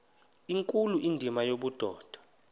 nkulu indima yobudoda